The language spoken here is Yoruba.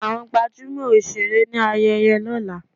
Àwọn gbajúmọ̀ òṣèré ní ayẹyẹ lọ́la.